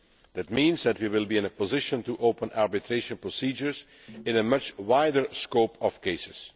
That means that we will be in a position to open arbitration procedures in a much wider range of cases.